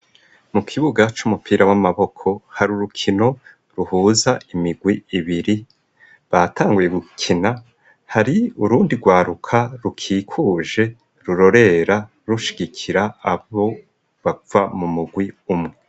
Mu kibuga c'umupira w'amaboko hari urukino ruhuza imigwi ibiri batangiye gukina hari urundi rwaruka rukikuje rurorera rushikira abo bapfa mu mugwi umwe.